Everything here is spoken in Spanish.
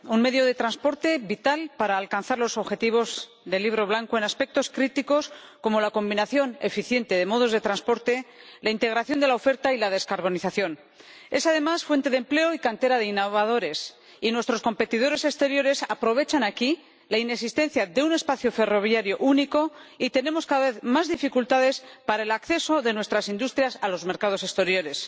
Señora Presidenta, Europa es líder mundial en tecnología ferroviaria, un medio de transporte vital para alcanzar los objetivos del Libro Blanco en aspectos críticos como la combinación eficiente de modos de transporte, la integración de la oferta y la descarbonización. Es, además, fuente de empleo y cantera de innovadores, y nuestros competidores exteriores aprovechan aquí la inexistencia de un espacio ferroviario único y tenemos cada vez más dificultades para el acceso de nuestras industrias a los mercados exteriores.